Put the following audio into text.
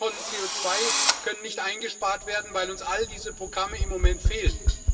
Wie viele Tonnen CO2 können nicht eingespart werden, weil uns all diese Programme im Moment fehlen?